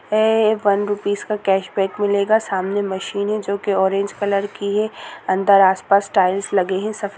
ये one rupees का cash back मिलेगा सामने मशीन है जो की ऑरेंज कलर की है अंदर आस-पास टाइल्स लगे हैं सफेद --